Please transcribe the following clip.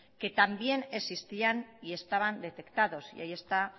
que también existían y estaban detectados y ahí está